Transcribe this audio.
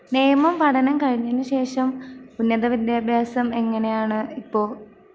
നിയമം പഠനം കഴിഞ്ഞെന് ശേഷം ഉന്നത വിദ്യാഭ്യാസം എങ്ങനെയാണ് ഇപ്പൊ?